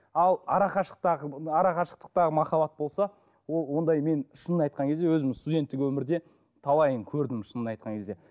ал арақашықтағы арақашықтықтағы махаббат болса ол ондай мен шынын айтқан кезде өзіміз студенттік өмірде талайын көрдім шынын айтқан кезде